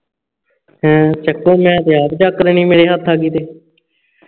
ਹੂਂ ਚਕੋ ਮੈਂ ਤੇ ਆਪ ਚੱਕ ਲੇਣੀ ਮੇਰੇ ਹੱਥ ਆ ਗਈ ਤੇ